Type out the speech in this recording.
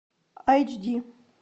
айч ди